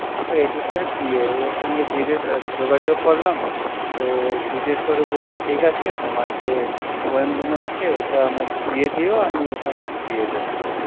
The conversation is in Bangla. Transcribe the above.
editor এর PA ওর সঙ্গে জিগেসা যোগাযোগ করলাম, তো জিগ্গেস করে বলল ঠিক আছে, তোমার যে poem গুনো আছে ঐটা আমায় দিয়ে দিও, আমি ওখানে দিয়ে দোবো